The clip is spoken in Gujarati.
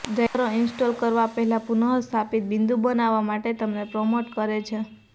ડ્રાઈવરો ઇન્સ્ટોલ કરવા પહેલાં પુનઃસ્થાપિત બિંદુ બનાવવા માટે તમને પ્રોમ્પ્ટ કરે છે